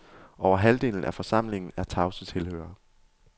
Over halvdelen af forsamlingen er tavse tilhørere.